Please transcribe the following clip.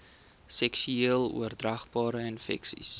seksueel oordraagbare infeksies